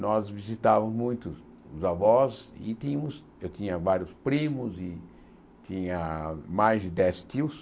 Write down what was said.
Nós visitávamos muito os avós e tínhamos, eu tinha vários primos e tinha mais de dez tios.